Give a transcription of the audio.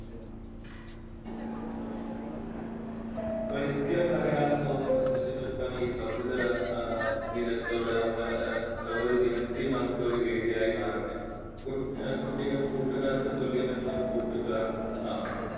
ഒരിക്കലും തകരാത്ത സൗഹൃദങ്ങൾ സൃഷ്ടിച്ചെടുക്കാൻ ഈയൊരു സൗഹൃദ ഏഹ് ദിനത്തോട് നമ്മൾ സൗഹൃദ ദിനത്തിൽ നമുക്കൊരു വേദിയായി മാറട്ടെ കുട്ടികൾ കൂട്ടുകാർക്ക് തുല്യമെന്ന് കൂട്ടുകാർ മാത്രം.